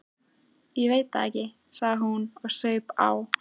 Ég veit það ekki, sagði hún og saup á.